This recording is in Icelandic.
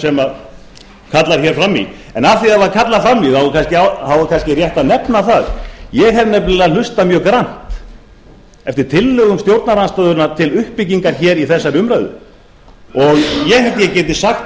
sem kallar fram í en af því að það var kallað fram í þá er kannski rétt að nefna það ég hef nefnilega hlustað mjög grannt eftir tillögum stjórnarandstöðunnar til uppbyggingar í þessari umræðu og ég